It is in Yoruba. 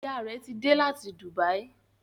Ìyá rẹ tí dé là tí Dubai.